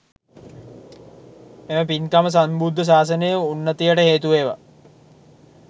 මෙම පින්කම සම්බුද්ධ ශාසනයේ උන්නතියට හේතු වේවා.